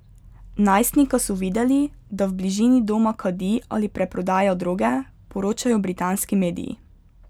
Najstnika so videli, da v bližini doma kadi ali preprodaja droge, poročajo britanski mediji.